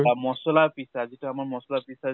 বা মছলা পিছা । যিটো আমাৰ মছলা পিছা